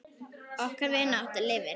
Okkar vinátta lifir.